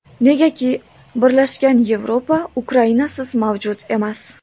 Negaki, birlashgan Yevropa Ukrainasiz mavjud emas.